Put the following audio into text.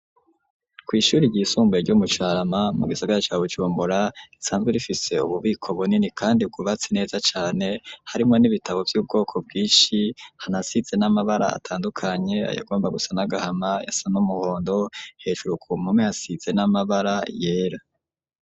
Kw'ishuri ry'isumbuye ryo mu Carama mu gisagara ca Bujumbora risanzwe rifise ububiko bunini kandi bwubatse neza cane harimwo n'ibitabo vy'ubwoko bwishi hanasize n'amabara atandukanye ayagomba gusa n'agahama ayasa n'umuhondo hejuru ku mpome hasize n'amabara yera.